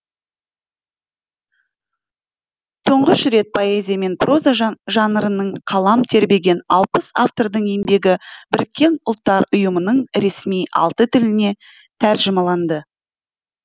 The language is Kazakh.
тұңғыш рет поэзия мен проза жанрында қалам тербеген алпыс автордың еңбегі біріккен ұлттар ұйымының ресми алты тіліне тәржімаланды